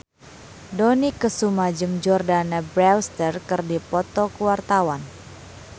Dony Kesuma jeung Jordana Brewster keur dipoto ku wartawan